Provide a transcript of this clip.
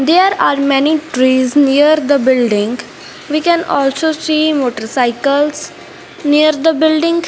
there are many trees near the building we can also see motorcycles near the building.